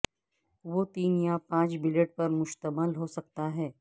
وہ تین یا پانچ بلیڈ پر مشتمل ہو سکتا